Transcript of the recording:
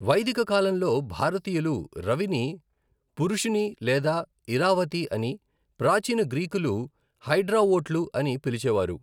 వైదిక కాలంలో భారతీయులు రవిని పురుషిణి లేదా ఇరావతి అని, ప్రాచీన గ్రీకులు హైడ్రావోట్లు అని పిలిచేవారు.